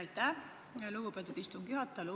Aitäh, lugupeetud istungi juhataja!